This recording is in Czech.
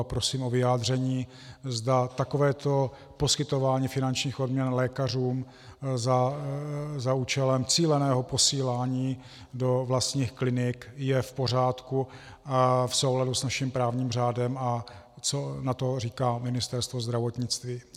A prosím o vyjádření, zda takovéto poskytování finančních odměn lékařům za účelem cíleného posílání do vlastních klinik je v pořádku a v souladu s naším právním řádem a co na to říká Ministerstvo zdravotnictví.